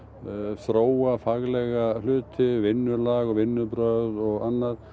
þróa faglega hluti vinnulag vinnubrögð og annað